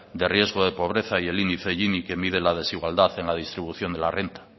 de riesgo de pobreza y índice que mide la desigualdad en la distribución de la renta